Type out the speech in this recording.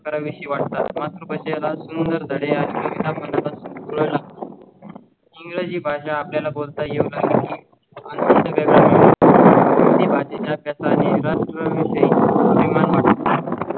करा विशी वाट तात मात्र ओळ